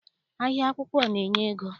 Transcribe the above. Ahịa akwụkwọ na- enye ego.